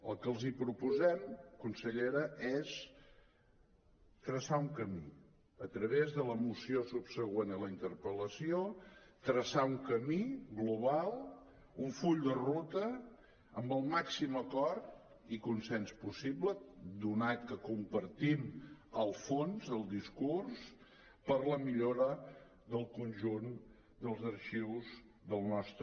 el que els proposem consellera és traçar un camí a través de la moció subsegüent a la interpel·lació traçar un camí global un full de ruta amb el màxim acord i consens possible donat que compartim el fons del discurs per la millora del conjunt dels arxius del nostre